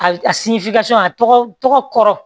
A a tɔgɔ tɔgɔ kɔrɔ